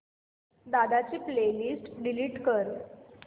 दादा ची playlist delete कर